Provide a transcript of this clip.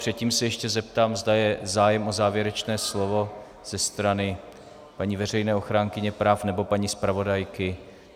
Předtím se ještě zeptám, zda je zájem o závěrečné slovo ze strany paní veřejné ochránkyně práv, nebo paní zpravodajky.